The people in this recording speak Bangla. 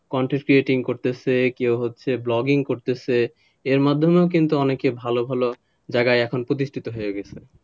content creating করতেছে কেউ হচ্ছে vlogging করতেছে এর মাধ্যমে কিন্তু অনেকে ভালো ভালো জায়গায় প্রতিষ্ঠিত হয়ে গেছে,